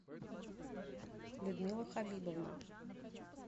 людмила хабибовна